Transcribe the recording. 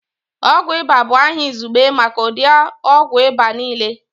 Ọgwụ ịba bụ aha izugbe maka ụdị ogwụ ịba niile